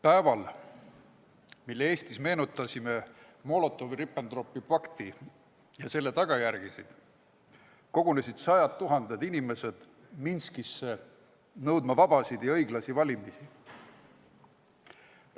Päeval, kui me Eestis meenutasime Molotovi-Ribbentropi pakti ja selle tagajärgi, kogunesid sajad tuhanded inimesed Minskis nõudma vabasid ja õiglasi valimisi.